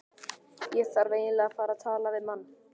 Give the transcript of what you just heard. Ég þarf eiginlega að fara og tala við mann.